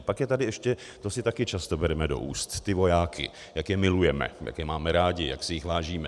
A pak je tady ještě - to si také často bereme do úst, ty vojáky, jak je milujeme, jak je máme rádi, jak si jich vážíme.